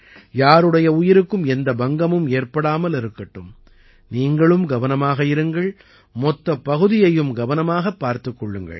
யாருடைய உயிருக்கும் எந்த பங்கமும் ஏற்படாமல் இருக்கட்டும் நீங்களும் கவனமாக இருங்கள் மொத்த பகுதியையும் கவனமாகப் பார்த்துக் கொள்ளுங்கள்